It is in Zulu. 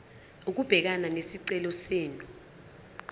ukubhekana nesicelo senu